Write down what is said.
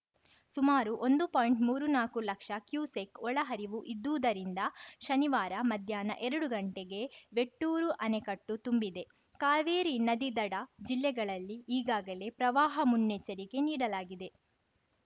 ಸುಮಾರು ಒಂದು ಪಾಯಿಂಟ್ಮೂರು ನಾಕು ಲಕ್ಷ ಕ್ಯುಸೆಕ್‌ ಒಳಹರಿವು ಇದ್ದಿದ್ದುದರಿಂದ ಶನಿವಾರ ಮಧ್ಯಾಹ್ನ ಎರಡು ಗಂಟೆಗೆ ಮೆಟ್ಟೂರು ಅಣೆಕಟ್ಟು ತುಂಬಿದೆ ಕಾವೇರಿ ನದಿದಡ ಜಿಲ್ಲೆಗಳಲ್ಲಿ ಈಗಾಗಲೇ ಪ್ರವಾಹ ಮುನ್ನೆಚ್ಚರಿಕೆ ನೀಡಲಾಗಿದೆ